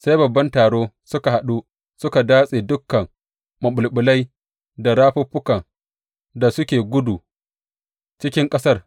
Sai babban taro suka haɗu suka datse dukan maɓulɓulai da rafuffukan da suke gudu cikin ƙasar.